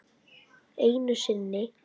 Einu sinni.